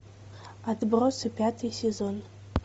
отбросы пятый сезон